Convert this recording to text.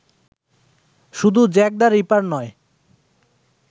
শুধু Jack the Ripper নয়